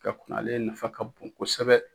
Ka kunna ale nafa ka bon kosɛbɛ.